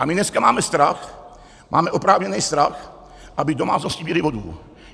A my dneska máme strach, máme oprávněný strach, aby domácnosti měly vodu.